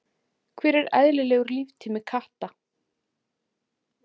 Hver er eðlilegur líftími katta?